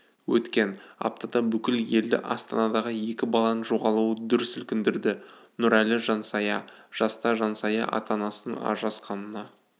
өткен аптада бүкіл елді астанадағы екі баланың жоғалуы дүр сілкіндірді нұрәлі жансая жаста жансая ата-анасының ажырасқанына